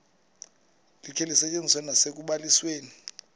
likhe lisetyenziswe nasekubalisweni